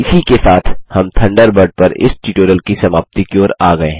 इसी के साथ हम थंडरबर्ड पर इस ट्यूटोरियल की समाप्ति की ओर आ गये हैं